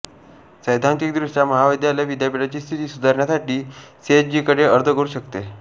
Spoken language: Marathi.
सैद्धांतिकदृष्ट्या महाविद्यालय विद्यापीठाची स्थिती सुधारण्यासाठी सीएचईकडे अर्ज करू शकते